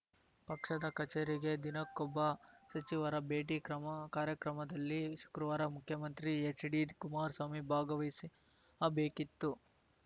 ಪಕ್ಷದ ಕಚೇರಿಗೆ ದಿನಕ್ಕೊಬ್ಬ ಸಚಿವರ ಭೇಟಿ ಕ್ರಮಕಾರ್ಯಕ್ರಮದಲ್ಲಿ ಶುಕ್ರವಾರ ಮುಖ್ಯಮಂತ್ರಿ ಹೆಚ್‌ಡಿಕುಮಾರಸ್ವಾಮಿ ಭಾಗವಹಿಸಬೇಕಿತ್ತು